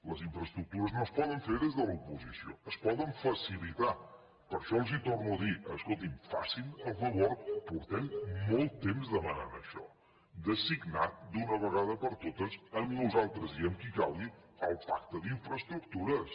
les infraestructures no es poden fer des de l’oposició es poden facilitar per això els torno a dir escolti’m facin el favor fa molt temps que demanem això de signar d’una vegada per totes amb nosaltres i amb qui calgui el pacte d’infraestructures